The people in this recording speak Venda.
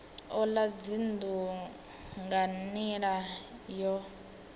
ola dzinnu nga nila yo